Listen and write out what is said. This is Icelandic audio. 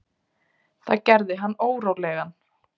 Það gerði hann órólegan.